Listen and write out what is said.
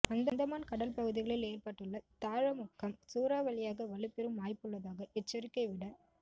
அந்தமான் கடல் பகுதிகளில் ஏற்பட்டுள்ள தாழமுக்கம் சூறாவளியாக வலுப்பெறும் வாய்ப்புள்ளதாக எச்சரிக்கை விட